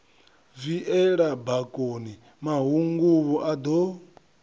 viela bakoni mahunguvhu a do